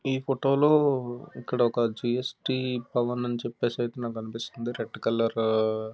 ఈ ఫోటో లో ఇక్కడ జి.స్.టి. భవన్ అని చెప్పేసి నాకు అనిపిస్తుంది రెడ్ కలర్ --